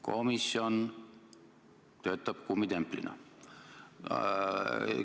Komisjon töötab kummitemplina.